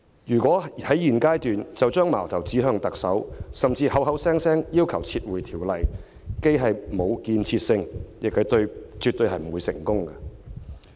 如果在現階段就把矛頭指向特首，甚至口口聲聲要求撤回修訂，既沒有建設性，亦絕不會成功。